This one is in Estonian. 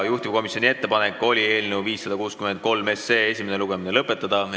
Juhtivkomisjoni ettepanek oli eelnõu 563 esimene lugemine lõpetada.